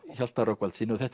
Hjalta Rögnvaldssyni og þetta